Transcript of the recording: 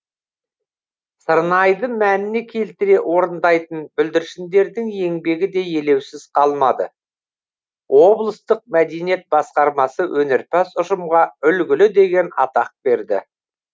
сырнайды мәніне келтіре орындайтын бүлдіршіндердің еңбегі де елеусіз қалмады облыстық мәдениет басқармасы өнерпаз ұжымға үлгілі деген атақ берді